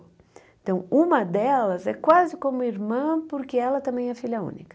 Então, uma delas é quase como irmã, porque ela também é filha única.